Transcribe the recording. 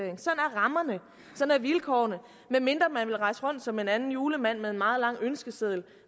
er rammerne sådan er vilkårene med mindre man vil rejse rundt som en anden julemand med en meget lang ønskeseddel